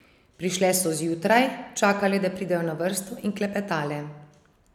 Prišle so zjutraj, čakale, da pridejo na vrsto, in klepetale.